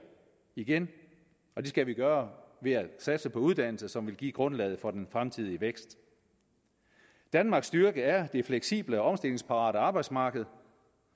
igen og det skal vi gøre ved at satse på uddannelse som vil give grundlaget for den fremtidige vækst danmarks styrke er det fleksible og omstillingsparate arbejdsmarked